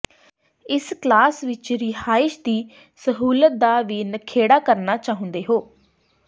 ਇਸ ਕਲਾਸ ਵਿਚ ਰਿਹਾਇਸ਼ ਦੀ ਸਹੂਲਤ ਦਾ ਵੀ ਨਖੇੜਾ ਕਰਨਾ ਚਾਹੁੰਦੇ ਹੋ